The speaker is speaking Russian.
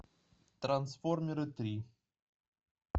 трансформеры три